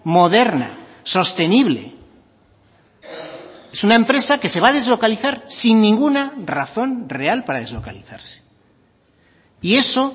moderna sostenible es una empresa que se va a deslocalizar sin ninguna razón real para deslocalizarse y eso